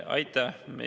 Aitäh!